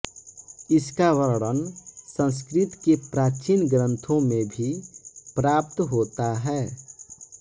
इसका वर्णन संस्कृत के प्राचीन ग्रंथों में भी प्राप्त होता है